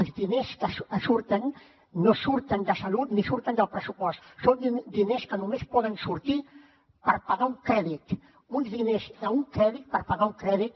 els diners que surten no surten de salut ni surten del pressupost són diners que només poden sortir per pagar un crèdit uns diners d’un crèdit per pagar un crèdit